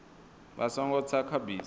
vha songo tsa kha bisi